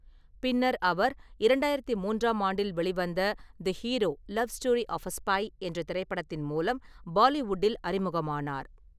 பின்னர் அவர் இரண்டாயிரத்தி மூன்றாம் ஆண்டில் வெளிவந்த the hero: love story of a spy என்ற திரைப்படத்தின் மூலம் பாலிவுட்டில் அறிமுகமானார்.